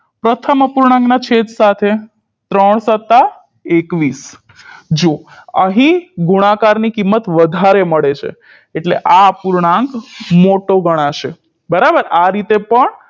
પ્રથમ અપૂર્ણાંકના છેદ સાથે ત્રણ સત્તા એકવીસ જો અહીં ગુણાકારની કિંમત વધારે મળે છે એટલે આ પૂર્ણાંક મોટો ગણાશે બરાબર આ રીતે પણ